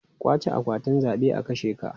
Ƙwace akwatin zabe a kashe ka.